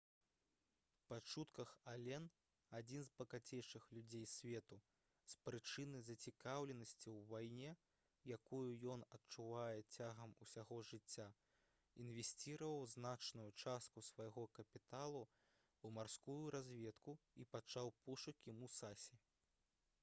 па чутках ален адзін з багацейшых людзей свету з прычыны зацікаўленасці ў вайне якую ён адчуваў цягам усяго жыцця інвесціраваў значную частку свайго капіталу ў марскую разведку і пачаў пошукі «мусасі»